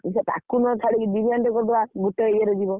ବିରିୟାନି ଟେ କରିଦବା ଗୋଟେ ଇଏ ରେ ଯିବ।